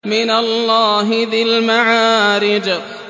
مِّنَ اللَّهِ ذِي الْمَعَارِجِ